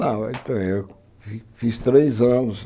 Não, então eu fiz três anos.